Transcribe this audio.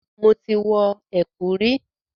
Mo ti wọ ẹ̀kú rí.